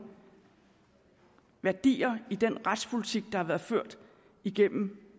værdier i den retspolitik der har været ført igennem